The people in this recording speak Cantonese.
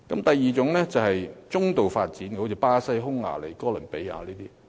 第二個層次是中度發展國家，例如巴西、匈牙利和哥倫比亞。